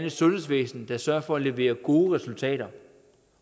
et sundhedsvæsen der sørger for at levere gode resultater